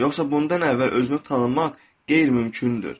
Yoxsa bundan əvvəl özünü tanımaq qeyri-mümkündür.